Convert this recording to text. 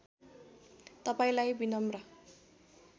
तपाईँलाई बिनम्र